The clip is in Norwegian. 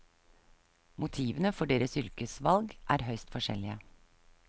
Motivene for deres yrkesvalg er høyst forskjellige.